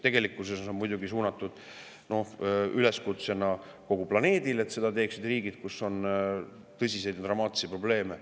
Tegelikkuses on see üleskutse suunatud muidugi kogu planeedile: et seda teeksid riigid, kus on tõsiseid ja dramaatilisi probleeme.